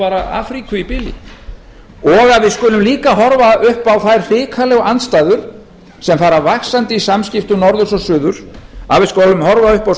bara afríku í bili og að við skulum líka horfa upp á þær hrikalegu andstæður sem fara vaxandi á samskiptum norðurs og suðurs að við skulum horfa upp á